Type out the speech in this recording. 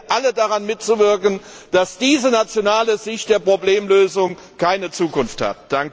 Ich bitte alle, daran mitzuwirken, dass diese nationale Sicht der Problemlösung keine Zukunft hat!